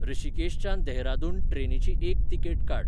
ह्रषीकेशच्यान देहरादून ट्रेनीची एक तिकेट काड